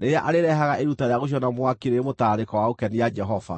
rĩrĩa arĩrehaga iruta rĩa gũcinwo na mwaki rĩrĩ mũtararĩko wa gũkenia Jehova.